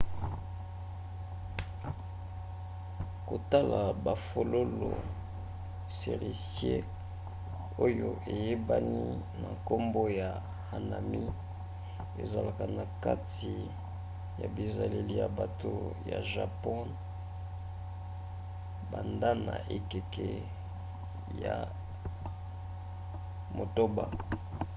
kotala bafololo cerisier oyo eyebani na nkombo ya hanami ezalaka na kati ya bizaleli ya bato ya japon bandana ekeke ya 8